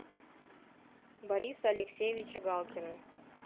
бориса алексеевича галкина